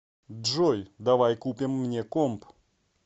джой давай купим мне комп